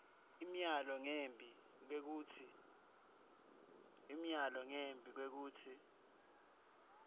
imiyalo ngembi kwekutsi